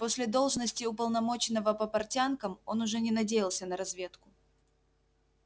после должности уполномоченного по портянкам он уже не надеялся на разведку